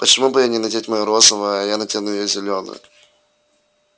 почему бы ей не надеть моё розовое а я надену её зелёное